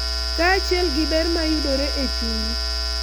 Kaachiel gi ber ma yudore e chuny, .